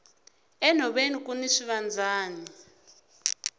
enhoveni kuni swivandzani